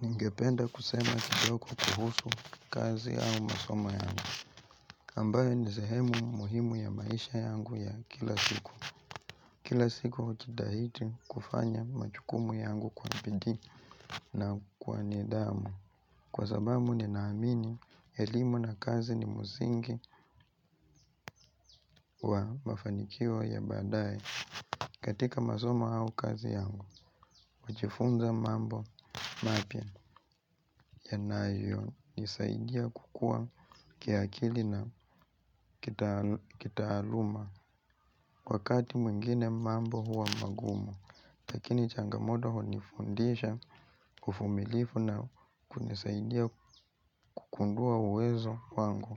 Ningependa kusema kidogo kuhusu kazi au masomo yangu, ambayo ni sehemu muhimu ya maisha yangu ya kila siku. Kila siku hujitahidi kufanya majukumu yangu kwa bidii na kwa nidhamu. Kwa sababu ninaamini elimu na kazi ni msingi wa mafanikio ya baadaye. Katika masomo au kazi yangu, ninajifunza mambo mapya yanayonisaidia kukua kiakili na kitaaluma. Wakati mwingine mambo huwa magumu, lakini changamoto hunifundisha uvumilivu na kunisaidia kugundua uwezo wangu.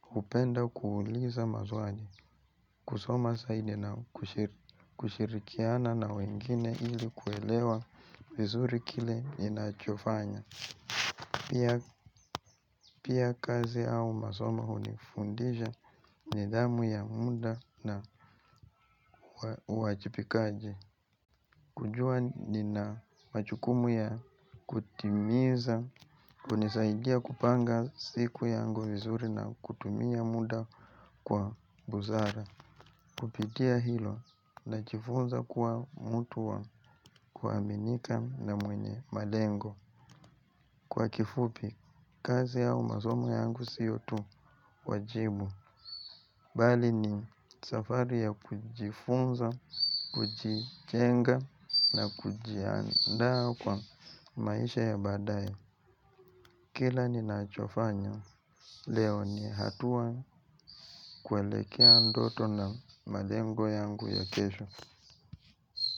Hupenda kuuliza maswali, kusoma zaidi na kushirikiana na wengine ili kuelewa vizuri kile ninachofanya. Pia kazi au masomo hunifundisha nidhamu ya muda na uwajibikaji. Kujua nina majukumu ya kutimiza hunisaidia kupanga siku yangu vizuri na kutumia muda kwa busara. Kupitia hilo ninajifunza kuwa mtu wa kuaminika na mwenye malengo. Kwa kifupi, kazi au masomo yangu siyo tu wajibu. Bali ni safari ya kujifunza, kujijenga na kujiandaa kwa maisha ya baadaye. Kila ninachofanya leo ni hatua kuelekea ndoto na malengo yangu ya kesho.